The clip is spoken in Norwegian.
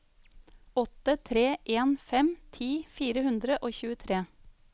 åtte tre en fem ti fire hundre og tjuetre